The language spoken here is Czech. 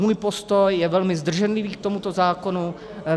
Můj postoj je velmi zdrženlivý k tomuto zákonu.